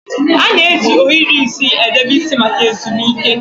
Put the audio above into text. A na-eji ohiri isi edebe isi maka ezumike.